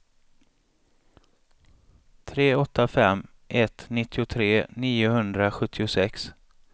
tre åtta fem ett nittiotre niohundrasjuttiosex